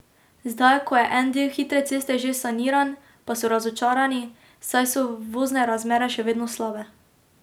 Zdaj ko je en del hitre ceste že saniran, pa so razočarani, saj so vozne razmere še vedno slabe.